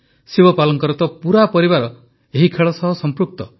ଶିବପାଲଙ୍କର ତ ପୁରା ପରିବାର ଏହି ଖେଳ ସହିତ ସମ୍ପୃକ୍ତ